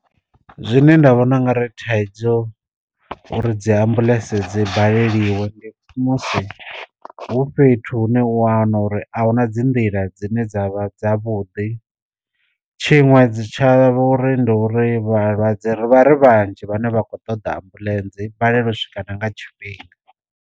Zwine nda vhona nga ri thaidzo uri dzi ambuḽentse dzi baleliwa ndi musi hu fhethu hune u wana uri ahuna dzi nḓila dzi dzine dzavha dza vhuḓi, tshiṅwe dzi tshavho uri ndi uri vhalwadze ri vha ri vhanzhi vhane vha kho ṱoḓa ambuḽentse i balelwa u swika na nga tshifhinga.